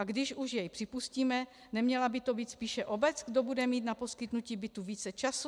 A když už jej připustíme, neměla by to být spíše obec, kdo bude mít na poskytnutí bytu více času?